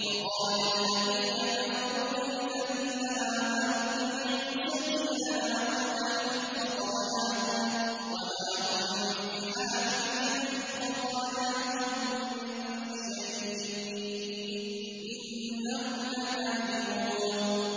وَقَالَ الَّذِينَ كَفَرُوا لِلَّذِينَ آمَنُوا اتَّبِعُوا سَبِيلَنَا وَلْنَحْمِلْ خَطَايَاكُمْ وَمَا هُم بِحَامِلِينَ مِنْ خَطَايَاهُم مِّن شَيْءٍ ۖ إِنَّهُمْ لَكَاذِبُونَ